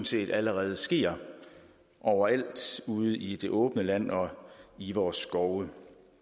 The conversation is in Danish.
set allerede sker overalt ude i det åbne land og i vores skove